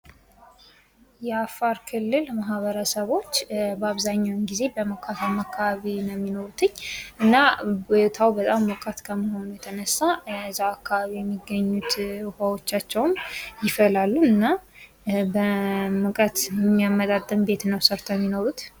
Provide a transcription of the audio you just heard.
የአፋር ክልል ማህበረሰቦች በአብዛኛውን ጊዜ በሞቃታማ አካባቢ ነው የሚኖሩት:: እና ቦታው በጣም ሞቃት ከመሆኑ የተነሳ እዛው አካባቢ የሚገኙት ዉሃዎቻቸውም ይፈላሉ እና ሙቀት የሚያመጣጥን ቤት ነው ሰርተው የምኖሩት::